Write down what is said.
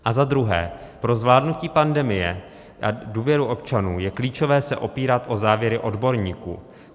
A za druhé, pro zvládnutí pandemie a důvěru občanů je klíčové se opírat o závěry odborníků.